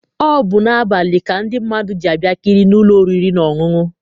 Ọ bụ n'abalị ka ndị mmadụ ji abịakarị n'ụlọ oriri na ọṅụṅụ.